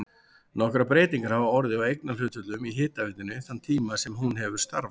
Nokkrar breytingar hafa orðið á eignarhlutföllum í hitaveitunni þann tíma sem hún hefur starfað.